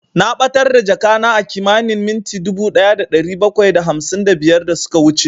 Na ɓatar da jakana a kimanin minti dubu ɗaya da ɗari bakwai da hamsin da biyar da suka wuce